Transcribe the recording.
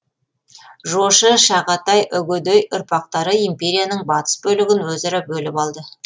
жошы шағатай үгедей ұрпақтары империяның батыс бөлігін өзара бөліп алды